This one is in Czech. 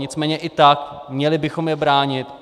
Nicméně i tak, měli bychom je bránit.